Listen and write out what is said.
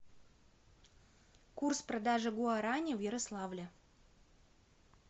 курс продажи гуарани в ярославле